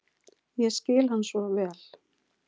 Ég skil hann svo vel.